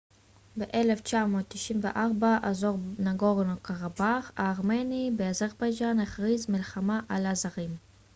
ב-1994 אזור נגורנו-קרבאך הארמני באזרבייג'אן הכריז מלחמה על האזרים